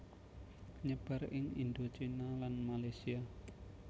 Nyebar ing Indochina lan Malesia